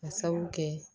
Ka sabu kɛ